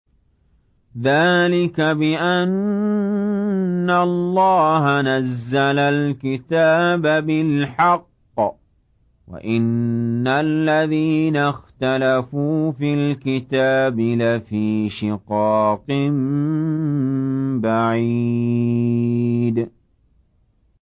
ذَٰلِكَ بِأَنَّ اللَّهَ نَزَّلَ الْكِتَابَ بِالْحَقِّ ۗ وَإِنَّ الَّذِينَ اخْتَلَفُوا فِي الْكِتَابِ لَفِي شِقَاقٍ بَعِيدٍ